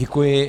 Děkuji.